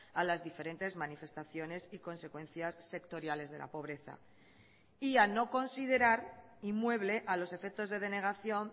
a las diferentes manifestaciones y consecuencias sectoriales de la pobreza y a no considerar inmueble a los efectos de denegación